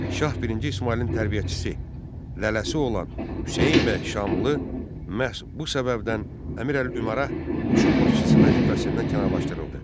Şah birinci İsmayılın tərbiyəçisi lələsi olan Hüseyn bəy Şamlı məhz bu səbəbdən Əmirülümərə qoşun başçısı vəzifəsindən kənarlaşdırıldı.